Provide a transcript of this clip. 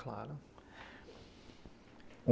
Claro.